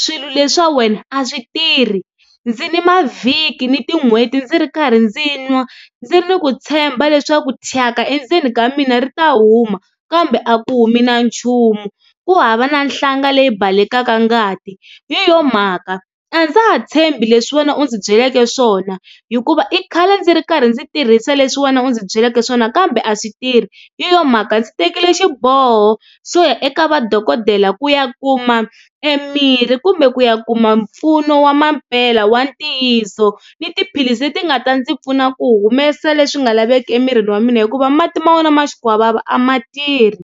swilo leswa wena a swi tirhi. Ndzi ni mavhiki ni tin'hweti ndzi ri karhi ndzi nwa ndzi ri ni ku tshemba leswaku thyaka endzeni ka mina ri ta huma kambe a ku humi na nchumu ku hava na nhlanga leyi balekela ngati hi yona mhaka a ndza ha tshembi leswi wena u ndzi byeleke swona hikuva i khale ndzi ri karhi ndzi tirhisa leswi wena u ndzi byeleke swona kambe a swi tirh. Hi yona mhaka ndzi tekile xiboho xo ya eka va dokodela ku ya ku kuma e mirhi kumbe ku ya kuma mpfuno wa mampela wa ntiyiso ni tiphilisi leti nga ta ndzi pfuna ku humesa leswi nga laveki emirini wa mina hikuva mati ma wena ma xikwavava a ma tirhi.